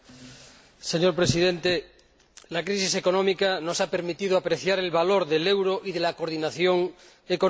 Señor Presidente, la crisis económica nos ha permitido apreciar el valor del euro y de la coordinación económica.